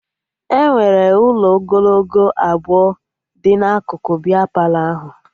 Enwere ụlọ ogologo abụọ dị n'akụkụ bịa Palọ ahụ